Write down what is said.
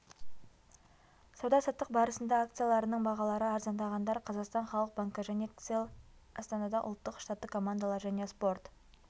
сауда-саттық барысында акцияларының бағалары арзандағандар қазақстан халық банкі және кселл астанада ұлттық штаттық командалар және спорт